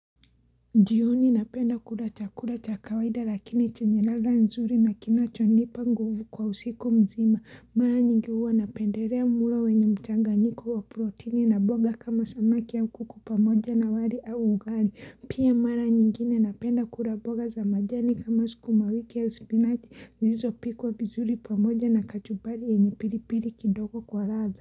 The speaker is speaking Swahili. Njioni napenda kula chakula cha kawaida lakini chenye ladha nzuri na kinachonipa nguvu kwa usiku mzima. Mara nyingi uwa napenderea mulo wenye mchanganyiko wa protini na boga kama samaki au kuku pamoja na wali au ugali. Pia mara nyingine napenda kula boga za majani kama sukumawiki ya spinach zilizopikwa vizuri pamoja na kachubari yenye piripiri kidogo kwa ratha.